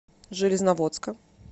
железноводска